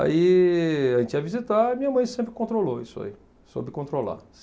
Aí, a gente ia visitar e minha mãe sempre controlou isso aí, soube controlar.